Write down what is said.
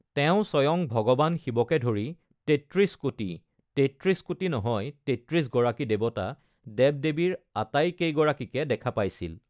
তেওঁ স্বয়ং ভগবান শিৱকে ধৰি ৩৩-কোটি (৩৩ কোটি নহয় ৩৩ গৰাকী দেৱতা) দেৱ-দেৱীৰ আটাইকেইগৰাকীকে দেখা পাইছিল।